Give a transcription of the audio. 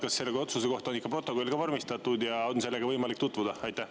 Kas selle otsuse kohta on ikka protokoll ka vormistatud ja on sellega võimalik tutvuda?